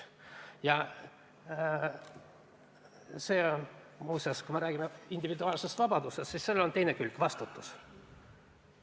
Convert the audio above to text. Ja muuseas, kui ma räägin individuaalsest vabadusest, siis sellel on ka teine külg – vastutus.